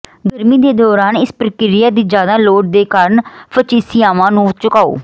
ਗਰਮੀ ਦੇ ਦੌਰਾਨ ਇਸ ਪ੍ਰਕ੍ਰਿਆ ਦੀ ਜ਼ਿਆਦਾ ਲੋੜ ਦੇ ਕਾਰਨ ਫਚਿਸਿਆਵਾਂ ਨੂੰ ਝੁਕਾਓ